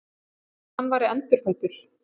Eins og hann væri endurfæddur.